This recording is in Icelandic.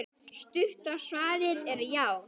Stutta svarið er já!